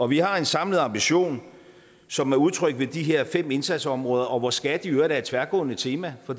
vi har en samlet ambition som er udtrykt ved de her fem indsatsområder og hvor skat i øvrigt er et tværgående tema for